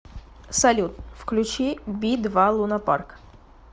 салют включи би два лунапарк